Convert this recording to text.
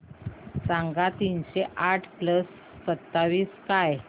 सांगा तीनशे आठ प्लस सत्तावीस काय